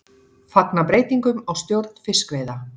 Fagna breytingum á stjórn fiskveiða